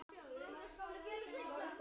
Hinsta kveðja, ljóð til ömmu.